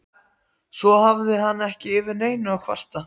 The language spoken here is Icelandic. Svo hafði hann ekki yfir neinu að kvarta.